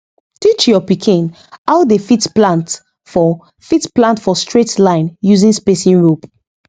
teach your pikin how dey fit plant for fit plant for straight line using spacing rope